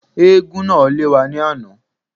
Éégún náà lé wa ní àná